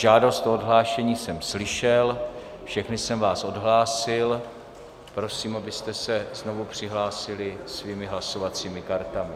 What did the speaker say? Žádost o odhlášení jsem slyšel, všechny jsem vás odhlásil, prosím, abyste se znovu přihlásili svými hlasovacími kartami.